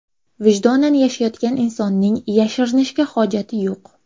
Vijdonan yashayotgan insonning yashirinishga hojati yo‘q.